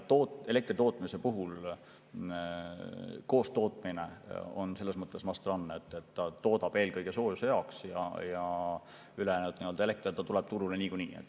Elektritootmise puhul on koostootmine selles mõttes must run, et toodetakse eelkõige soojuse jaoks ja ülejäänud, elekter tuleb turule niikuinii.